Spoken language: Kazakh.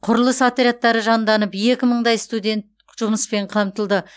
құрылыс отрядтары жанданып екі мыңдай студент жұмыспен қамтылды